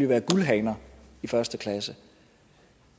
jo være guldhaner i første klasse